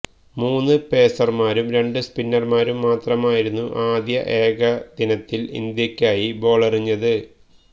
മൂന്ന് പേസർമാരും രണ്ട് സ്പിന്നർമാരും മാത്രമായിരുന്നു ആദ്യ ഏകദിനത്തിൽ ഇന്ത്യയ്ക്കായി ബോളെറിഞ്ഞത്